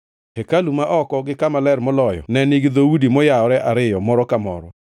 Hekalu ma oko gi Kama Ler Moloyo ne nigi dhoudi mayawore ariyo moro ka moro.